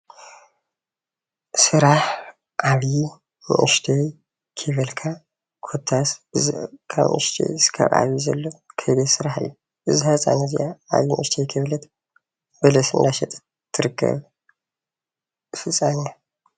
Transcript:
ስራሕ ዓብይ ንእሽተይ ከይበልካ ኮታስ ካብ ንእሽተይ ክሳብ ዓብይ ዘሎ ከይዲ ስራሕ እዩ፡፡ እዛ ህፃን እዚኣ ዓብዪ ንእሽተይ ከይበለት በለስ እናሸጠት እትርከብ ህፃን እያ፡፡